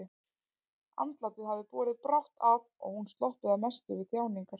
Andlátið hafði borið brátt að og hún sloppið að mestu við þjáningar.